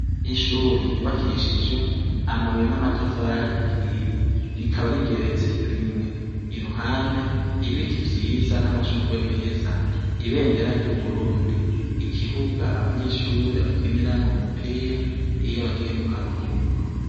Ishure ryubakishijwe amabuye n'amatafari ahiye. Rikaba rigeretse rimwe. Iruhande ibiti vyiza n'amashugwe meza. Ibendera ry'Uburundi. Ikibuga abanyeshure bakiniramwo umupira iyo bagiye mu karuhuko.